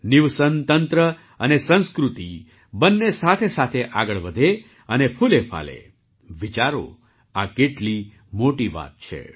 નિવસન તંત્ર અને સંસ્કૃતિ બંને સાથેસાથે આગળ વધે અને ફૂલેફાલે વિચારોઆ કેટલી મોટી વાત છે